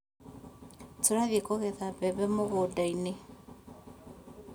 Tũrathiĩ kũgetha mbembe mũgũndainĩ